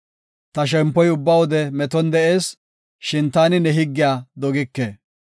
Ta shempoy ubba wode meton de7ees; shin taani ne higgiya dogike.